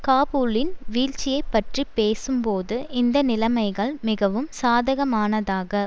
காபூலின் வீழ்ச்சியை பற்றி பேசும் போது இந்த நிலைமைகள் மிகவும் சாதகமானதாக